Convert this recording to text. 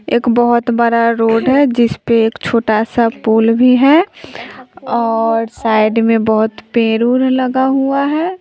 एक बहोत बड़ा रोड है जिस पे एक छोटा सा पुल भी है और साइड में बहोत पेर ओर लगा हुआ है।